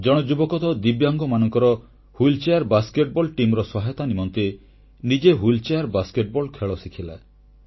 ଜଣେ ଯୁବକ ତ ଦିବ୍ୟାଙ୍ଗମାନଙ୍କର ହ୍ୱୀଲଚେୟାର ବାସ୍କେଟବଲ ଟିମ୍ ସହାୟତା ନିମନ୍ତେ ନିଜେ ହ୍ୱୀଲଚେୟାର ବାସ୍କେଟବଲ ଖେଳ ଶିଖିଲା